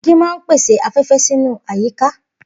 Igi máa ń pèsè afé̩fé̩ sínú àyíká